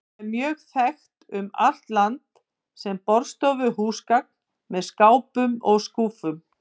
Það er mjög vel þekkt um allt land sem borðstofuhúsgagn með skápum og skúffum.